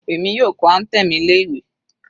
Èmi yóò kọ anthem ilé ìwé.